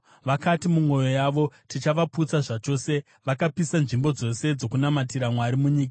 Vakati mumwoyo yavo, “Tichavaputsa zvachose!” Vakapisa nzvimbo dzose dzokunamatira Mwari munyika.